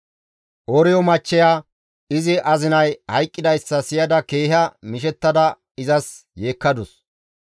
Ooriyo machcheya izi azinay hayqqidayssa siyada keeha mishettada izas yeekkadus.